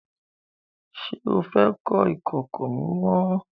Ṣé o fẹ́ kọ́ ìkòkò mímọ?